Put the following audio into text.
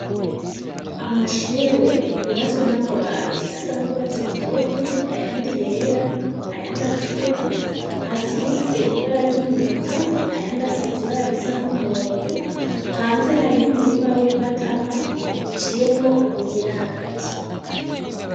Amashure yubatswe n'amabati asa n'urwatsi rutoto ayandi yera, ayandi atukura asize ibara ry'umunyota ayandi asize ibara risa n'umuhondo, hanze hariho umurima w'imbatama uciyemwo ubuyira hagati.